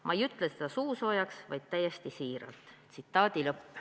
Ma ei ütle seda suusoojaks, vaid täiesti siiralt.